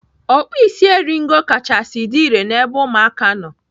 Ọkpụisieringo kachasị dị irè n'ebe ụmụaka nọ.